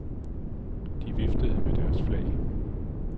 De viftede med deres flag.